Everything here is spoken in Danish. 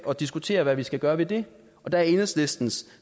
og diskuterer hvad vi skal gøre ved det og der er enhedslistens